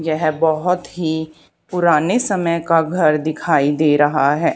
यह बहुत ही पुराने समय का घर दिखाई दे रहा है।